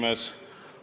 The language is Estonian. Paul Puustusmaa, palun!